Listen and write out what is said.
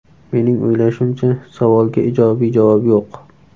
Mening o‘ylashimcha, savolga ijobiy javob yo‘q.